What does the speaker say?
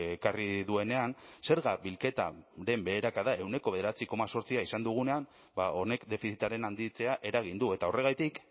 ekarri duenean zerga bilketaren beherakada ehuneko bederatzi koma zortzi izan dugunean honek defizitaren handitzea eragin du eta horregatik